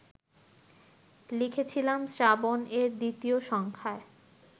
লিখেছিলাম শ্রাবণ-এর দ্বিতীয় সংখ্যায়